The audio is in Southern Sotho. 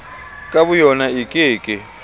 ka boyona e ke ke